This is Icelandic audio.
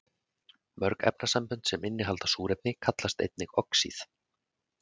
Mörg efnasambönd sem innihalda súrefni kallast einnig oxíð.